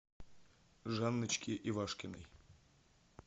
жанночке ивашкиной